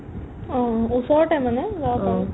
অ', ওচৰতে মানে ইয়াৰ পৰা